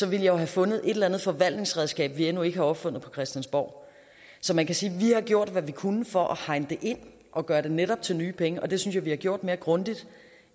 jeg jo have fundet et eller andet forvaltningsredskab vi endnu ikke har opfundet på christiansborg så man kan sige at vi har gjort hvad vi kunne for at hegne det ind og gør det netop til nye penge og det synes jeg vi har gjort mere grundigt